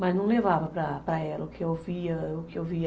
Mas não levava para ela o que eu via, o que eu via.